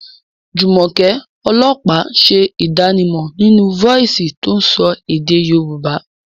Jumoke, ọlọ́pàá, ń ṣe ìdánimọ̀ nínú fọ́ọ̀sì tó ń sọ èdè Yorùbá.